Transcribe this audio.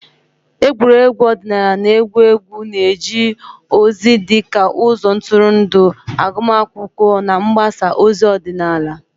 Egwuregwu ọdịnala na egwu egwu na-eje ozi dị ka ụzọ ntụrụndụ, agụmakwụkwọ na mgbasa ozi ọdịnala.